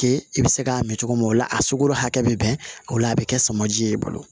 Ke i bɛ se k'a mɛn cogo min o la a sugoro hakɛ bɛ bɛn o la a bɛ kɛ samaji ye i bolo